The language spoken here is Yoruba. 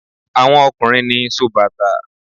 Àwọn ọkùnrin ni sóbàtà.